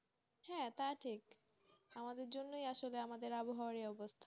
হ্যাঁ তা ঠিকআমাদের জন্যই আসলে আমাদের আবহাওয়ার এই অবস্থা,